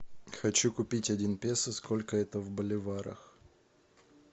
хочу купить один песо сколько это в боливарах